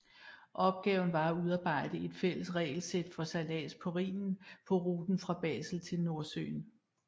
Opgaven var at udarbejde et fælles regelsæt for sejlads på Rhinen på ruten fra Basel til Nordsøen